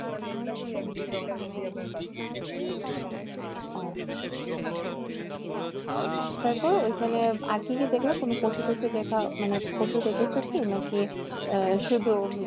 ওহ তারপর ঐখানে আর কি কি দেখলা? কোনো পশু টসু দেখা মানে পশু দেখেছো কি? নাকি আহ শুধু